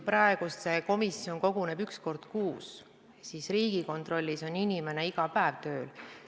Praegu see komisjon koguneb üks kord kuus, aga Riigikontrollis on inimene iga päev tööl.